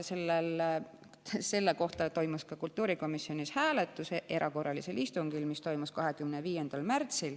Selle üle toimus ka kultuurikomisjonis hääletus erakorralisel istungil, mis toimus 25. märtsil.